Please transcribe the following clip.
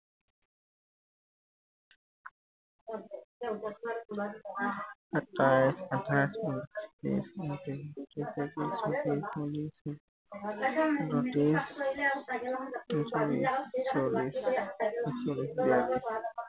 সাতাইশ আঠাইশ উনত্ৰিশ ত্ৰিশ একত্ৰিশ বত্ৰিশ তেত্ৰিশ চৌত্ৰিশ পয়ত্ৰিশ ছয়ত্ৰিশ সাতত্ৰিশ আঠত্ৰিশ উনল্লিশ চল্লিশ একচল্লিশ বিৰাল্লিশ